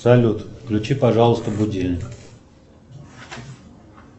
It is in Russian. салют включи пожалуйста будильник